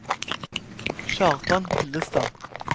Kjartan Hillestad